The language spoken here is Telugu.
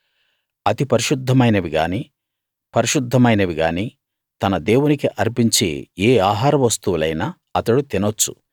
అతి పరిశుద్ధమైనవిగాని పరిశుద్ధమైనవిగాని తన దేవునికి అర్పించే ఏ ఆహార వస్తువులైనా అతడు తినొచ్చు